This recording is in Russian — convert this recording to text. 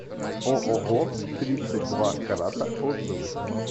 ооо тридцать два карата отзывы